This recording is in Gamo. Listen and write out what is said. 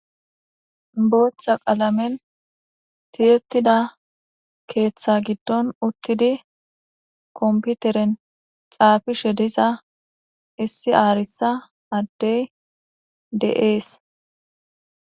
boochcha qalamen tiyetida keeththa giddon uttidi komputeren xaafishe diza issi aarisa addey de7ees